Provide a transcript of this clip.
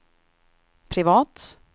privat